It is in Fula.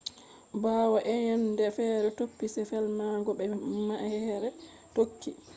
bawo eyende fere topi se felmango be ma’ehre tokki